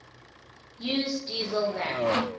use diesel land